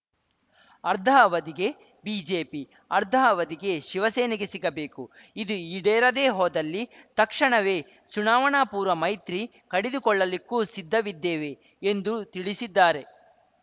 ಅರ್ಧ ಅವಧಿಗೆ ಬಿಜೆಪಿ ಅರ್ಧ ಅವಧಿಗೆ ಶಿವಸೇನೆಗೆ ಸಿಗಬೇಕು ಇದು ಈಡೇರದೇ ಹೋದಲ್ಲಿ ತಕ್ಷಣವೇ ಚುನಾವಣಾಪೂರ್ವ ಮೈತ್ರಿ ಕಡಿದುಕೊಳ್ಳಲಿಕ್ಕೂ ಸಿದ್ಧವಿದ್ದೇವೆ ಎಂದು ತಿಳಿಸಿದ್ದಾರೆ